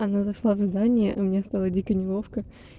она зашла в здание и мне стало дико неловко